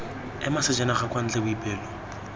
ema sejanaga kwa ntle boipelo